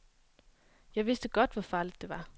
Jeg vidste godt, hvor farligt det var.